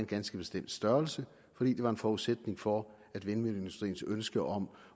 ganske bestemt størrelse fordi det var en forudsætning for at vindmølleindustriens ønske om